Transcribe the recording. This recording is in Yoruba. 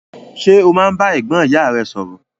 Ṣe o máa n bá ẹ̀gbọ́n ìyá rẹ sọrọ?